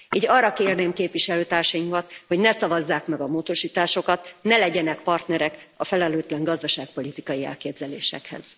Így arra kérném képviselőtársaimat, hogy ne szavazzák meg a módosításokat, ne legyenek partnerek a felelőtlen gazdaságpolitikai elképzelésekhez.